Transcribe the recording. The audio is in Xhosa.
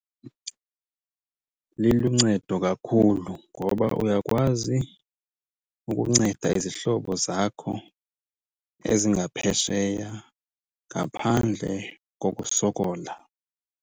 Liluncedo kakhulu ngoba uyakwazi ukunceda izihlobo zakho ezingaphesheya ngaphandle kokusokola.